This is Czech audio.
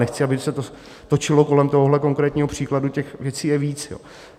Nechci, aby se to točilo kolem tohohle konkrétního příkladu, těch věcí je víc.